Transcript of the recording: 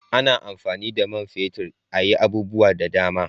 A na amfani da man fetir a yi abubuwa da dama